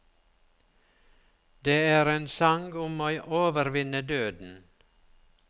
Det er en sang om å overvinne døden.